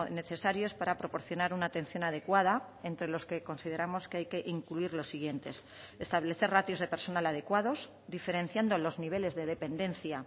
necesarios para proporcionar una atención adecuada entre los que consideramos que hay que incluir los siguientes establecer ratios de personal adecuados diferenciando los niveles de dependencia